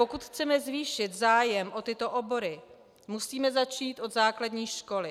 Pokud chceme zvýšit zájem o tyto obory, musíme začít od základní školy.